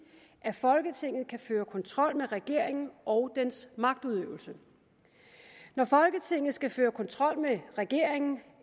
at folketinget kan føre kontrol med regeringen og dens magtudøvelse når folketinget skal føre kontrol med regeringen